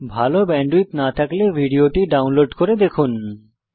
ভাল ব্যান্ডউইডথ না থাকলে ভিডিওটি ডাউনলোড করে দেখুন